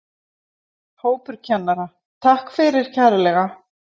Hópur kennara: Takk fyrir kærlega.